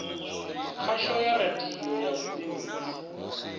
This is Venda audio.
khasho ya radio ya vhubindudzi